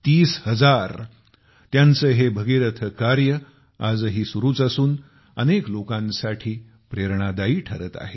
30 हजार त्यांचं हे भगीरथ कार्य आजही सुरूच असून अनेक लोकांसाठी प्रेरणादायी ठरत आहे